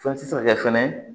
Fɛn tɛ se ka kɛ fɛnɛ